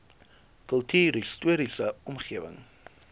kultuurhis toriese omgewing